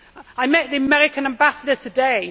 I met the American Ambassador today.